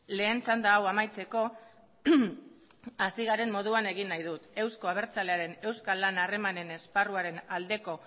lehen txanda hau amaitzeko hasi garen moduan egin nahi dut euzko abertzalearen euskal lana harremanen esparruaren aldeko